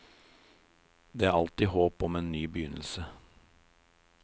Det er alltid håp om en ny begynnelse.